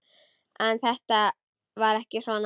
En þetta var ekki svona.